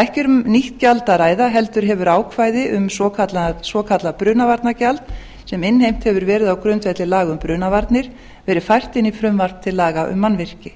ekki er um nýtt gjald að ræða heldur hefur ákvæði um svokallað brunavarnagjald sem innheimt hefur verið á grundvelli laga um brunavarnir verið fært inn í frumvarp til laga um mannvirki